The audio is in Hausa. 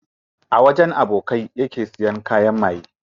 A wajen abokanai yake siya kayan maye.